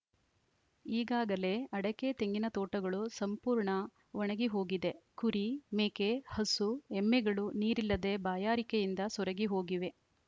ಈಗಾಗಲೇ ಅಡಕೆತೆಂಗಿನ ತೋಟಗಳು ಸಂಪೂರ್ಣ ಒಣಗಿ ಹೋಗಿದೆ ಕುರಿ ಮೇಕೆ ಹಸು ಎಮ್ಮೆಗಳು ನೀರಿಲ್ಲದೆ ಬಾಯಾರಿಕೆಯಿಂದ ಸೊರಗಿ ಹೋಗಿವೆ